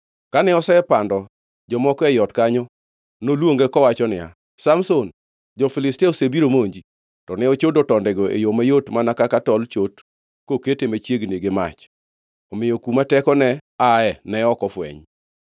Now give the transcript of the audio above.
Kane osepando jomoko ei ot kanyo, noluonge kowacho niya, “Samson, jo-Filistia osebiro monji!” To ne ochodo tondego e yo mayot mana kaka tol chot kokete machiegni gi mach. Omiyo kuma tekone ae ne ok ofweny.